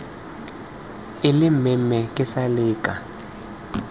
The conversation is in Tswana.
ile mmemme ke sale ke